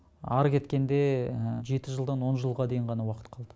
ары кеткенде жеті жылдан он жылға дейін ғана уақыт қалды